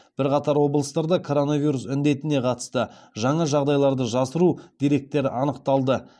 бірқатар облыстарда коронавирус індетіне қатысты жаңа жағдайларды жасыру деректері анықталды